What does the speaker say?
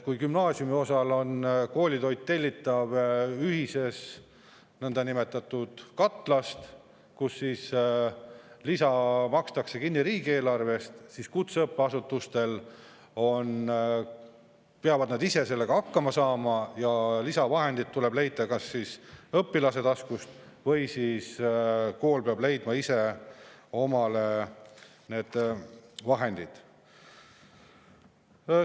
Gümnaasiumiosas tellitakse koolitoit ühisest nõndanimetatud katlast ja lisa makstakse kinni riigieelarvest, aga kutseõppeasutused peavad ise sellega hakkama saama ja lisavahendeid tuleb leida kas õpilaste taskust või peab kool ise need vahendid leidma.